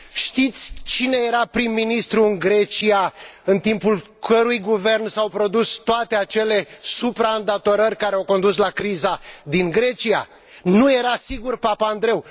Știți cine era prim ministru în Grecia, în timpul cărui guvern s au produs toate acele supraîndatorări care au condus la criza din Grecia? Nu era sigur Papandreou.